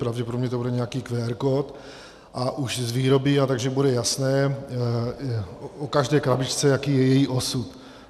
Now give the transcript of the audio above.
Pravděpodobně to bude nějaký QR kód a už z výroby, takže bude jasné o každé krabičce, jaký je její osud.